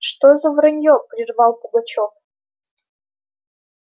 что за вранье прервал пугачёв